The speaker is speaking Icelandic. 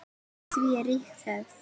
Fyrir því er rík hefð.